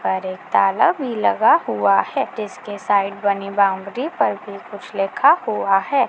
और एक ताला भी लगा हुआ है जिसके साइड बनी बाउन्ड्री पर भी कुछ लिखा हुआ है।